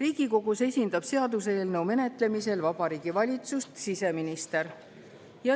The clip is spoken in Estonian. Seaduseelnõu menetlemisel Riigikogus esindab Vabariigi Valitsust siseminister.